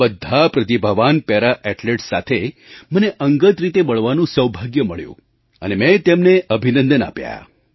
આ બધા પ્રતિભાવાન પેરા ઍથ્લેટ્સ સાથે મને અંગત રીતે મળવાનું સૌભાગ્ય મળ્યું અને મેં તેમને અભિનંદન આપ્યા